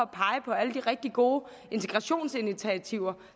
pege på alle de rigtig gode integrationsinitiativer